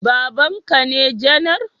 Babanka ne janar